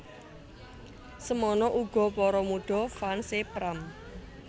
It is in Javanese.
Semono uga para mudha fans é Pram